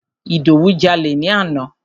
Ìdòwú jalè ni àná.